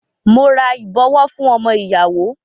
Mo ra ìbọwọ́ fún ọmọ ìyàwó.